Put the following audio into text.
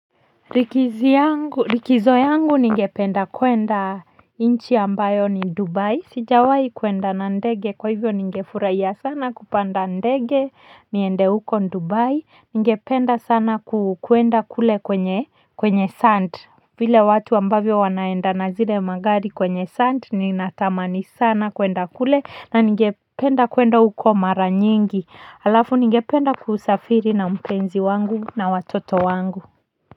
Likizo yangu ningependa kuenda nchi ambayo ni Dubai, sijawahi kwenda na ndege, kwa hivyo ningefurahia sana kupanda ndege niende huko Dubai. Ningependa sana kwenda kule kwenye kwenye sand vile watu ambavyo wanaenda na zile gari kwenye sand, natamani sana kwenda kule na ningependa kwenda huko mara nyingi. Alafu ningependa kusafiri na mpenzi wangu na watoto wangu.